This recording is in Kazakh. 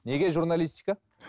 неге журналистика